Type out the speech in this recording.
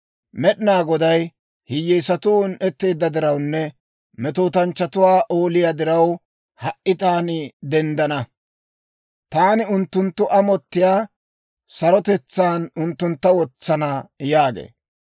Med'inaa Goday, «Hiyyeesatuu un"etteedda dirawunne, Metootanchchatuwaa ooliyaa diraw, ha"i taani denddana. Taani unttunttu amottiyaa sarotetsaan unttuntta wotsana» yaagee.